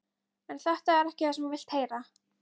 En þetta er ekki það sem þú vilt heyra.